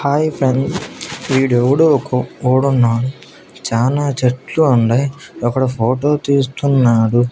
Hi friends వీడెవడో ఒక చానా చెట్లు ఉండాయ్ ఒకడు ఫోటో తీస్తున్నాడు.